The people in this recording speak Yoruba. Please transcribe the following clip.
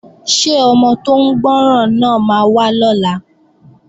Ṣé ọmọ tó ń gbọ́ràn náà máa wá lọ́la?